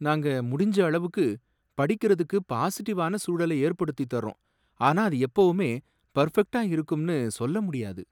நாங்க முடிஞ்ச அளவுக்கு படிக்கிறதுக்குப் பாசிட்டிவான சூழலை ஏற்படுத்தித் தர்றோம், ஆனா அது எப்பவுமே பர்ஃபெக்ட்டா இருக்கும்னு சொல்ல முடியாது.